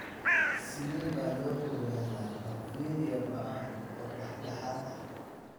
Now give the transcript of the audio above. Sidee baa loo ogaadaa porphyria ba'an oo dhexdhexaad ah (AIP)?